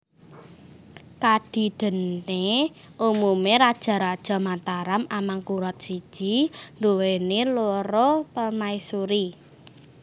Kadidéné umumé raja raja Mataram Amangkurat I nduwèni loro permaisuri